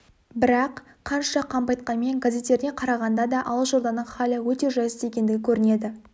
бірақ қанша қампайтқанмен газеттеріне қарағанда да алашорданың халі өте жайсыз екендігі көрінеді